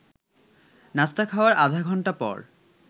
নাস্তা খাওয়ার আধা ঘণ্টা পর